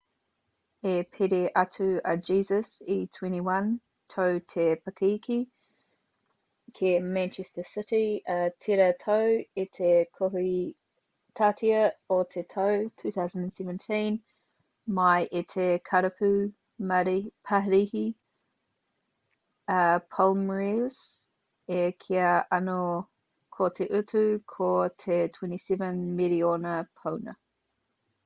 i piri atu a jesus e 21 tau te pakeke ki manchester city i tērā tau i te kohitātea o te tau 2017 mai i te karapu parihi a palmeiras e kīia ana ko te utu ko te 27 miriona pauna